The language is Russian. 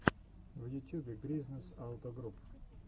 в ютюбе гризнэс ауто груп